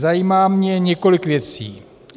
Zajímá mě několik věcí.